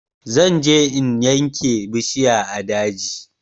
Zan je yanke bishiya a daji